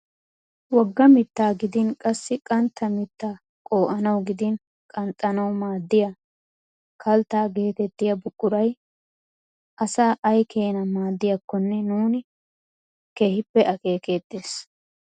Wogga mittaa gidin qassi qantta mittaa qo"anawu gidin qanxxanawu maaddiyaa kalttaa getettiyaa buquray asaa ayi keenaa maaddiyaakone nuuni keehippe akeekettees.